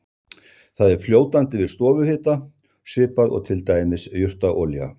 Það er fljótandi við stofuhita svipað og til dæmis jurtaolía.